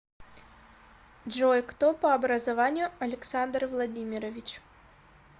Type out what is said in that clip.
джой кто по образованию александр владимирович